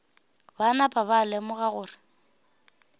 ba napa ba lemoga gore